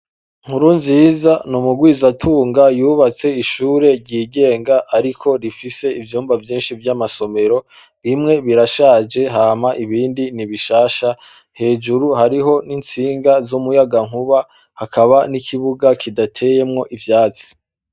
Nkurunziza ni umurwizatunga yubatse ishure ryigenga ariko rifise ivyumba vyinshi vy'amasomero, bimwe birashaje hama ibindi ni bishasha, hejuru hariho n'itsinga z'umuyagankuba, hakaba n'ikibuga kidateyemwo ivyatsi.